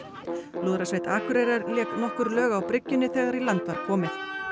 lúðrasveit Akureyrar lék nokkur lög á bryggjunni þegar í land var komið